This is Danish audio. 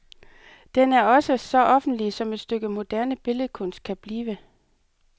Den er også så offentlig, som et stykke moderne billedkunst kan blive.